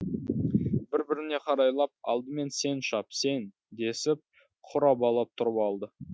бір біріне қарайлап алдымен сен шап сен десіп құр абалап тұрып алды